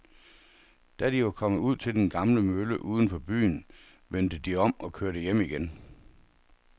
Da de var kommet ud til den gamle mølle uden for byen, vendte de om og kørte hjem igen.